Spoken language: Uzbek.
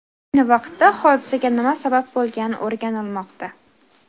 Ayni vaqtda hodisaga nima sabab bo‘lgani o‘rganilmoqda.